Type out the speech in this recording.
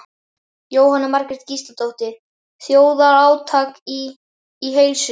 Jóhanna Margrét Gísladóttir: Þjóðarátak í, í heilsu?